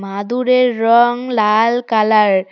মাদুরের রং লাল কালার ।